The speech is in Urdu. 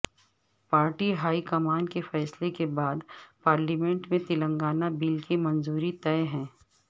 پارٹی ہائی کمان کے فیصلہ کے بعد پارلیمنٹ میں تلنگانہ بل کی منظوری طے ہے